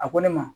A ko ne ma